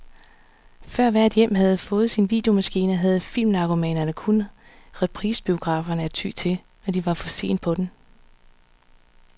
Før hvert hjem havde fået sin videomaskine, havde filmnarkomanerne kun reprisebiograferne at ty til, når de var for sent på den.